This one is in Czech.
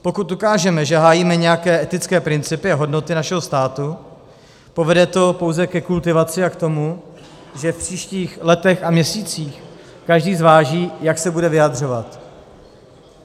Pokud dokážeme, že hájíme nějaké etické principy a hodnoty našeho státu, povede to pouze ke kultivaci a k tomu, že v příštích letech a měsících každý zváží, jak se bude vyjadřovat.